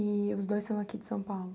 E os dois são aqui de São Paulo?